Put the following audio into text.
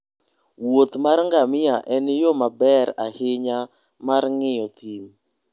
wuoth mar ngamia en yo maber ahinya mar ng'iyo thim.